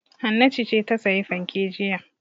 Hannatu ce ta sayi fanke jiya.